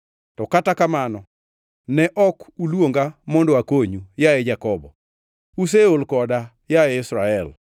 “To kata kamano ne ok uluonga mondo akonyu, yaye Jakobo, useol koda, yaye Israel.